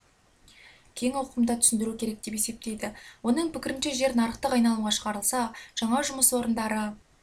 кең ауқымда түсіндіру керек деп есептейді оның пікірінше жер нарықтық айналымға шығарылса жаңа жұмыс орындары